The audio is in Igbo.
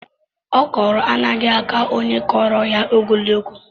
Okro anaghị àkà onye kuruya ogologo.